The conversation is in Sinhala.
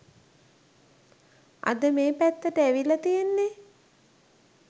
අද මේ පැත්තට ඇවිල්ල තියෙන්නෙ